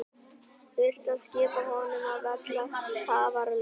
Þurfti að skipta honum af velli tafarlaust.